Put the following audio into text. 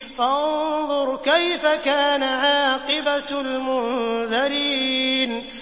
فَانظُرْ كَيْفَ كَانَ عَاقِبَةُ الْمُنذَرِينَ